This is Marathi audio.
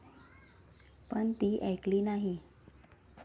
पण ती ऐकली नाही.